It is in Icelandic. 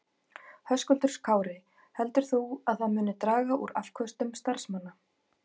Höskuldur Kári: Heldur þú að það muni draga úr afköstum starfsmanna?